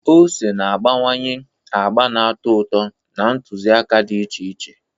Ose na-agbakwunye agba na-atọ ụtọ na ntụziaka dị iche iche.